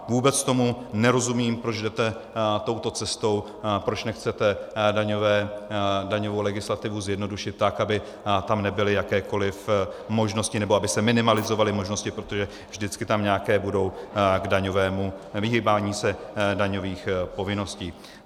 Vůbec tomu nerozumím, proč jdete touto cestou, proč nechcete daňovou legislativu zjednodušit tak, aby tam nebyly jakékoliv možnosti - nebo aby se minimalizovaly možnosti, protože vždycky tam nějaké budou k daňovému vyhýbání se daňových povinností.